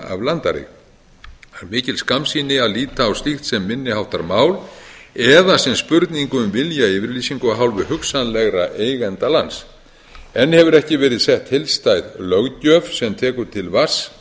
af landareign það er mikil skammsýni að líta á slíkt sem minni háttar mál eða sem spurningu um viljayfirlýsingu af hálfu hugsanlegra eigenda lands enn hefur ekki verið sett heildstæð löggjöf sem tekur til alls vatns